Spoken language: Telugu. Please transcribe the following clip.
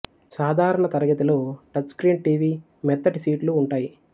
సాధారణ తరగతిలో టచ్ స్క్రీన్ టీవీ మొత్తటి సీట్లు ఉంటాయి